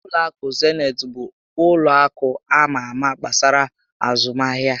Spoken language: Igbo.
Ụlọ akụ Zenit bụ ụlọ akụ ama ámá gbasara azụmahịa